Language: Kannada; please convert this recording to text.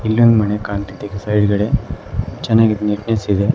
ಇಲ್ಲಿ ಒಂದು ಮನೆ ಕಾಣ್ತಿದೆ ಸೈಡ್ಗಡೆ ಚೆನ್ನಾಗಿ ನೀಟ್ನೆಸ್ ಇದೆ.